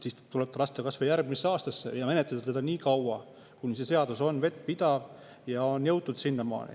Siis tuleb lasta kas või järgmise aastani seda menetleda, nii kaua, kuni on jõutud sinnamaani, et see seadus on vettpidav.